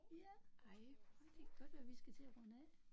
Ja. Det kan godt være vi skal til at runde af